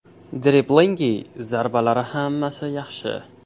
Driblingi, zarbalari hammasi yaxshi.